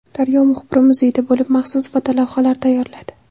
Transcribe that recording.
Daryo muxbiri muzeyda bo‘lib maxsus fotolavhalar tayyorladi.